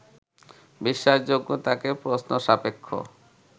বিশ্বাসযোগ্যতাকে প্রশ্ন-সাপেক্ষ